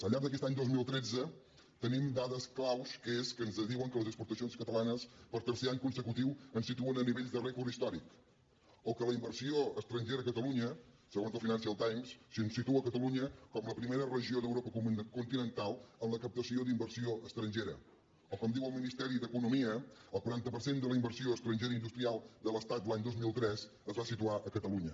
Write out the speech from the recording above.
al llarg d’aquest any dos mil tretze tenim dades claus que ens diuen que les exportacions catalanes per tercer any consecutiu ens situen a nivells de rècord històric o que la inversió estrangera a catalunya segons el financial times situa catalunya com la primera regió d’europa continental en la captació d’inversió estrangera o com diu el ministeri d’economia el quaranta per cent de la inversió estrangera industrial de l’estat l’any dos mil tres es va situar a catalunya